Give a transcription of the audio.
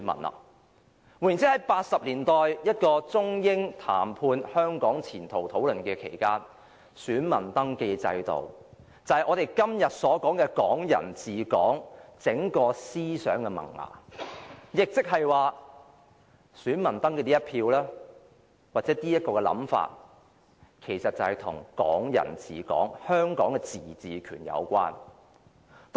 換言之，在1980年代，中英談判討論香港前途期間，選民登記制度就是我們所說的"港人治港"整個思想的萌芽，亦即是說，登記成選民其實與"港人治港"的香港自治權有關。